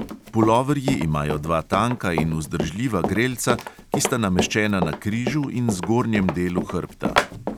Puloverji imajo dva tanka in vzdržljiva grelca, ki sta nameščena na križu in zgornjem delu hrbta.